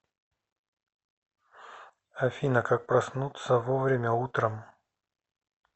афина как проснуться вовремя утром